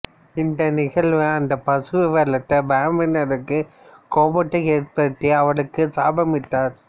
இந்த நிகழ்வு அந்தப் பசுவை வளர்த்த பிராமணருக்கு கோபத்தை ஏற்படுத்தி அவருக்கு சாபமிட்டார்